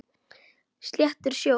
Sléttur sjór.